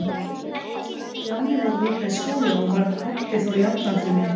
Stjáni voru líka í skóla, og var Kobbi þó jafnaldri minn.